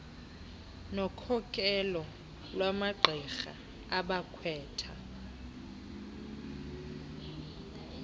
nokhokelo lwamagqirha abakhwetha